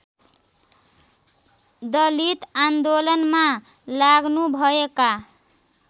दलित आन्दोलनमा लाग्नुभएका